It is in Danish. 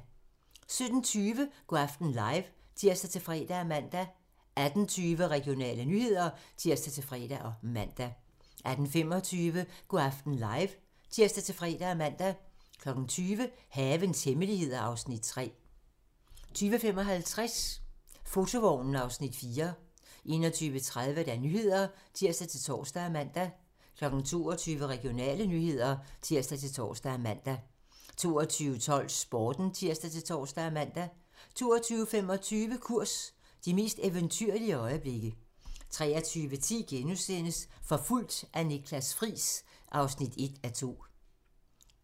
17:20: Go' aften live (tir-fre og man) 18:20: Regionale nyheder (tir-fre og man) 18:25: Go' aften live (tir-fre og man) 20:00: Havens hemmeligheder (Afs. 3) 20:55: Fotovognen (Afs. 4) 21:30: Nyhederne (tir-tor og man) 22:00: Regionale nyheder (tir-tor og man) 22:12: Sporten (tir-tor og man) 22:25: Kurs - de mest eventyrlige øjeblikke 23:10: Forfulgt af Niklas Friis (1:2)*